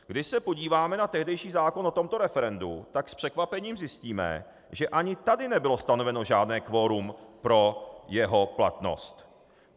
Když se podíváme na tehdejší zákon o tomto referendu, tak s překvapením zjistíme, že ani tady nebylo stanoveno žádné kvorum pro jeho platnost.